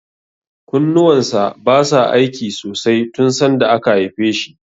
Kunnuwan sa basa aiki sosai tun sanda aka haife shi.